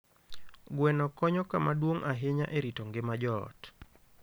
Gweno konyo kama duong' ahinya e rito ngima joot.